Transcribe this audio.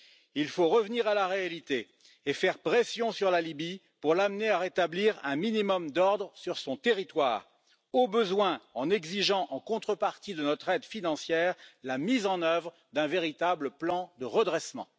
Il faut revenir à la réalité et faire pression sur la Libye pour l'amener à rétablir un minimum d'ordre sur son territoire, au besoin en exigeant en contrepartie de notre aide financière la mise en œuvre d'un véritable plan de redressement.